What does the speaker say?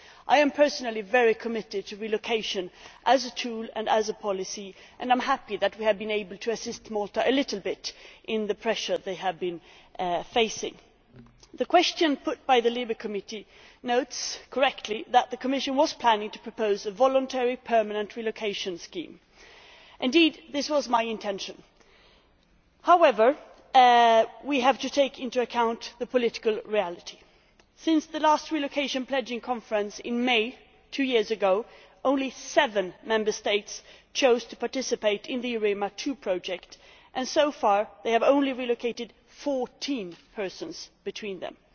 I am personally very committed to relocation as a tool and as a policy and I am happy that we have been able to assist Malta a little bit with the pressure they have been facing. The question put by the LIBE Committee notes, correctly, that the Commission was planning to propose a voluntary permanent relocation scheme. Indeed, this was my intention. However, we have to take the political reality into account. Since the last relocation pledging conference in May two years ago, only seven Member States have chosen to participate in the EUREMA II project and so far they have relocated only 14 people between them.